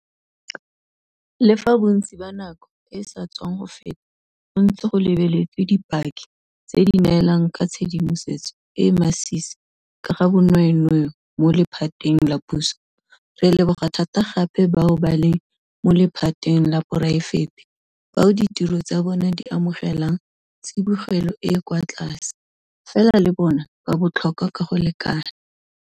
Le fa bontsi ba nako e e sa tswang go feta go ntse go lebeletswe dipaki tse di neelang ka tshedimosetso e e masisi ka ga bonweenwee mo lephateng la puso, re leboga thata gape bao ba leng mo lephateng la poraefete bao ditiro tsa bona di amogelang tsibogelo e e kwa tlase, fela le bona ba botlhokwa ka go lekana.